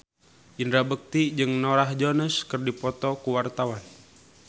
Indra Bekti jeung Norah Jones keur dipoto ku wartawan